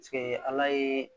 ala ye